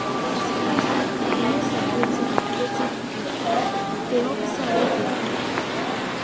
dem sidon inside car dem no sabi wetin to do wetin to do de officer wey dey come